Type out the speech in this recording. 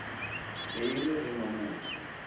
be e le ge mamohla